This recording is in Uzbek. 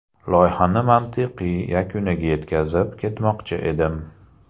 Loyihani mantiqiy yakuniga yetkazib, ketmoqchi edim.